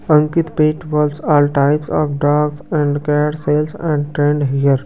Ankit pet walls all types of dogs and care sales and trade हर ।